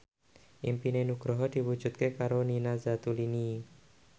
impine Nugroho diwujudke karo Nina Zatulini